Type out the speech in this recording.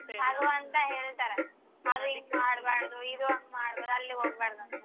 ಅಂತ ಹೇಳ್ತರ. ಅದು ಹಿಂಗ ಮಾಡ್ಬಾರ್ದು ಇದು ಹಂಗ್ ಮಾಡ್ಬಾರ್ದು ಅಲ್ಲಿ ಹೋಗ್ಬಾರ್ದು.